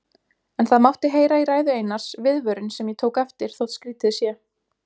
En það mátti heyra í ræðu Einars viðvörun sem ég tók eftir, þótt skrýtið sé.